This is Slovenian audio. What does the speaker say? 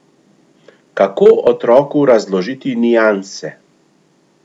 Kako otroku razložiti nianse?